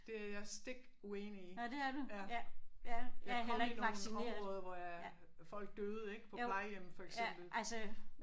Det er jeg stik uenig i. Ja. Jeg kom i nogle områder hvor jeg folk døde ik på plejehjemmet for eksempel